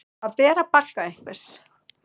Að bera bagga einhvers